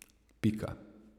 Pika.